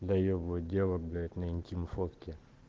доебывать дело блять на интим фотки